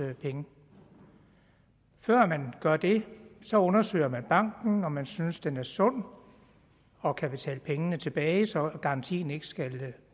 penge før man gør det så undersøger man banken om man synes den er sund og kan betale pengene tilbage så garantien ikke skal